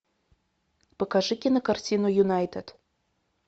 покажи кинокартину юнайтед